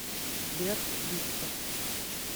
сбер виктор